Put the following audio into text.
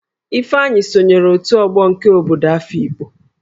Ifeanyi sonyere òtù Ogo nke obodo Afịkpo